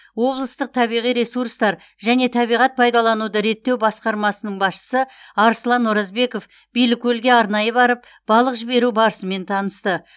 облыстық табиғи ресурстар және табиғат пайдалануды реттеу басқармасының басшысы аслан оразбеков билікөлге арнайы барып балық жіберу барысымен танысты